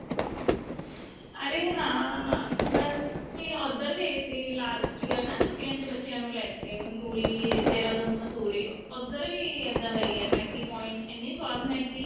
ਅਰੇ ਹਾਂ ਅਸੀਂ ਉੱਧਰ ਗਏ ਸੀ last year ਨਾ ਛੁੱਟੀਆਂ ਚ ਬੱਚਿਆਂ ਨੂੰ ਲੈ ਕੇ ਮੰਸੂਰੀ ਦੇਹਰਾਦੂਨ ਮੰਸੂਰੀ ਉੱਧਰ ਵੀ ਇੱਦਾਂ ਦਾ ਈ ਏ Maggie point ਇੰਨੀ ਸਵਾਦ Maggie